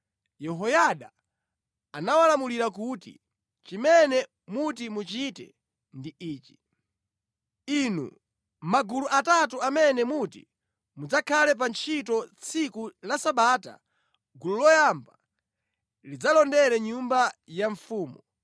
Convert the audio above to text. Yehoyada anawalamulira kuti, “Chimene muti muchite ndi ichi: Inu magulu atatu amene muti mudzakhale pa ntchito tsiku la Sabata, gulu loyamba lidzalondera nyumba ya mfumu,